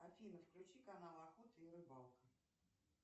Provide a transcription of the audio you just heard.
афина включи канал охота и рыбалка